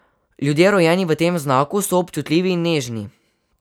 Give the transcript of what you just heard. Ljudje, rojeni v tem znaku, so občutljivi in nežni.